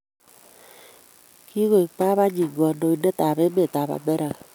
Kigaoek babanenyi knadoindetab emetab Amerika